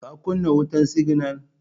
ka kunna wutan siginal?